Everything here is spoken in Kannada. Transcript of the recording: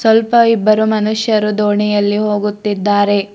ಸ್ವಲ್ಪ ಇಬ್ಬರು ಮನುಷ್ಯರು ದೋಣಿಯಲ್ಲಿ ಹೋಗುತ್ತಿದ್ದಾರೆ.